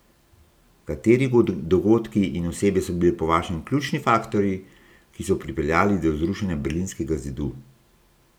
Kateri dogodki in osebe so bili po vašem ključni faktorji, ki so pripeljali do zrušenja Berlinskega zidu?